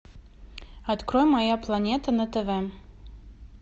открой моя планета на тв